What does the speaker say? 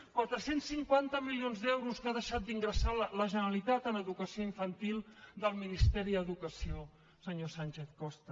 quatre cents cinquanta milions d’euros que ha deixat d’ingressar la generalitat en educació infantil del ministeri d’educació senyor sánchez costa